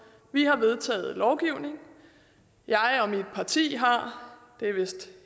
vi har vedtaget lovgivningen jeg og mit parti har det er vist